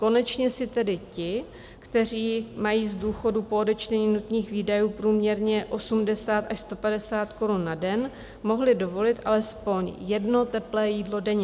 Konečně si tedy ti, kteří mají z důchodu po odečtení nutných výdajů průměrně 80 až 150 korun na den, mohli dovolit alespoň jedno teplé jídlo denně.